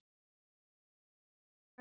Alnæmi, berklar og malaría